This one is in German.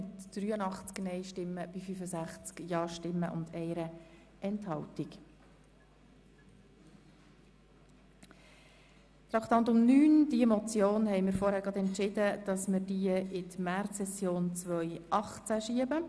Wie Sie vorhin per Ordnungsantrag beschlossen haben, wird die Beratung von Traktandum 9, Geschäft 2017.RRGR.225, Motion 097-2017 in die Märzsession 2018 verschoben.